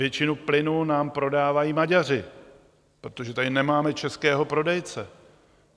Většinu plynu nám prodávají Maďaři, protože tady nemáme českého prodejce.